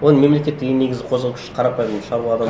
оны мемлекеттегі ең негізгі қозғау күш қарапайым шаруа адам